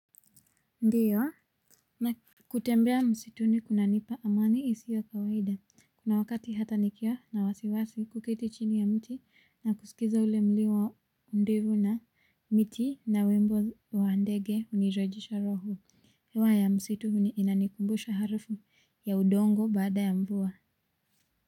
Ndiyo na kutembea msituni kunanipa amani isio ya kawaida kuna wakati hata nikiwa na wasiwasi kuketi chini ya mti na kusikiza ule mlio wa ndovu na miti na wimbo wa ndege hunirejesha roho hewa ya msitu inanikumbusha harufu ya udongo baada ya mvua.